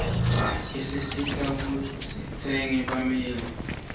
iyaasisita kuiji sindzele bumeli